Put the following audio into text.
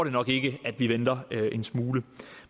nok ikke at vi venter en smule